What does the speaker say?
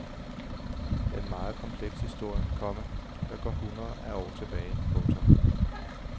Det er en meget kompleks historie, komma der går hundreder af år tilbage. punktum